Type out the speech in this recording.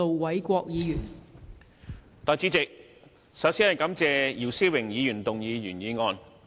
代理主席，首先感謝姚思榮議員提出原議案。